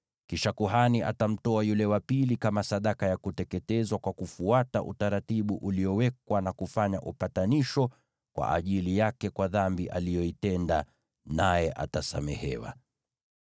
Kisha kuhani atamtoa yule ndege wa pili kama sadaka ya kuteketezwa kwa kufuata utaratibu uliowekwa, na hivyo kufanya upatanisho kwa ajili yake kwa dhambi aliyoitenda, naye atasamehewa.